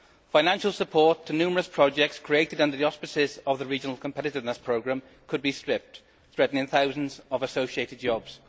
Financial support to numerous projects created under the auspices of the Regional Competitiveness Programme could be stripped, threatening thousands of associated jobs.